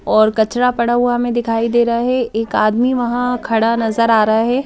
और कचरा पड़ा हुआ हमें दिखाई दे रहा है एक आदमी वहाँ खड़ा नजर आ रहा है ।